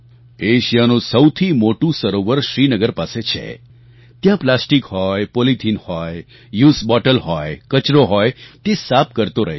એશિયાનું સૌથી મોટું સરોવર શ્રીનગર પાસે છે ત્યાં પ્લાસ્ટિક હોય પોલિથીન હોય યુઝ્ડ બોટલ હોય કચરો હોય તે સાફ કરતો રહે છે